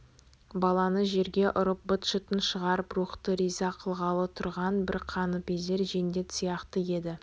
баланы жерге ұрып быт-шытын шығарып рухты риза қылғалы тұрған бір қаныпезер жендет сияқты еді